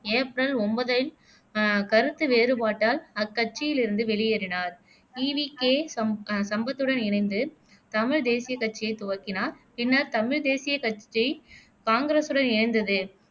April ஒன்பதில் அஹ் கருத்து வேறுபாட்டால் அக்கட்சியில் இருந்து வெளியேறினார் ஈ. வி. கே. சம் அஹ் சம்பத்துடன் இணைந்து தமிழ் தேசிய கட்சியை துவக்கினார் பின்னர் தமிழ் தேசிய கட்சி காங்கிரசுடன் இணைந்தது.